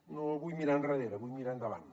no vull mirar endarrere vull mirar endavant